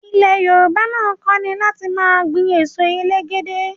Ilẹ̀ Yorùbá náà kònípẹ́ láti máa gbìn èso elégédé